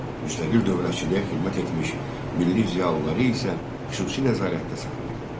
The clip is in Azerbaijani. Müstəqil dövlətçiliyə xidmət etmiş milli ziyalıları isə xüsusi nəzarətdə saxlayırdı.